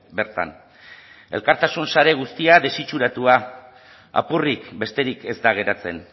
bertan elkartasun sare guztia desitxuratua apurrik besterik ez da geratzen